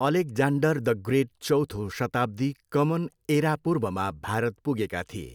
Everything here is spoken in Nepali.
अलेक्जान्डर द ग्रेट चौथो शताब्दी कमन एरापूर्वमा भारत पुगेका थिए।